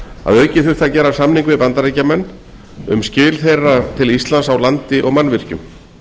að auki þurfti að gera samning við bandaríkjamenn um skil þeirra til íslands á landi og mannvirkjum